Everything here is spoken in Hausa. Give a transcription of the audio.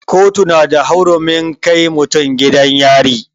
Kotu na da hurumin kai mutum gidan yari.